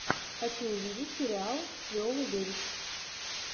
хочу увидеть сериал с виолой дэвис